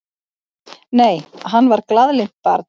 Nei, hann var glaðlynt barn.